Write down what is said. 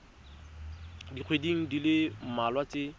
dikgweding di le mmalwa tse